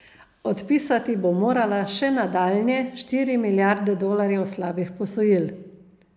Odpisati bo morala še nadaljnje štiri milijarde dolarjev slabih posojil.